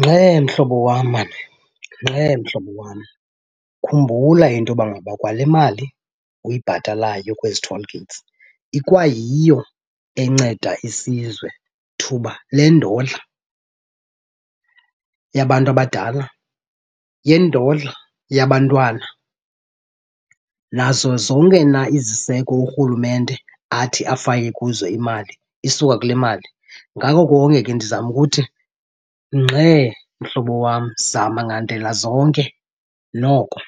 Ngxe mhlobo wam maan, ngxe mhlobo wam. Khumbula into yoba ngaba kwale mali uyibhatalayo kwezi toll gates ikwayiyo enceda isizwe thuba lendodla yabantu abadala, yendodla yabantwana, nazo zonke na iziseko urhulumente athi afake kuzo imali, isuka kule mali. Ngako konke ke ndizama ukuthi, ngxe mhlobo wam, zama ngandlela zonke noko